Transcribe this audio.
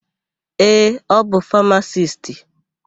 Ee, ọ bụ famasisti.